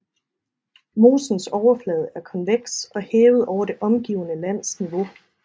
Mosens overflade er konveks og hævet over det omgivende lands niveau